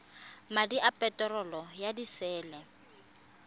madi a peterolo ya disele